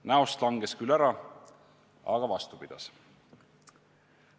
Näost langes küll ära, aga vastu pidas.